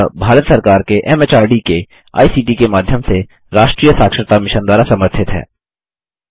यह भारत सरकार के एमएचआरडी के आईसीटी के माध्यम से राष्ट्रीय साक्षरता मिशन द्वारा समर्थित है